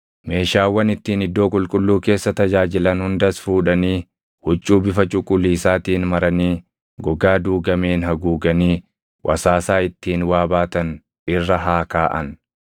“Meeshaawwan ittiin iddoo qulqulluu keessa tajaajilan hundas fuudhanii huccuu bifa cuquliisaatiin maranii gogaa duugameen haguuganii wasaasaa ittiin waa baatan irra haa kaaʼan.